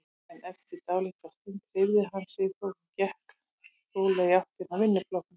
En eftir dálitla stund hreyfði hann sig þó og gekk rólega í áttina að vinnuflokknum.